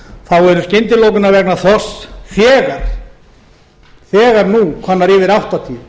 hef eru skyndilokanir vegna þorsks þegar nú komnar yfir áttatíu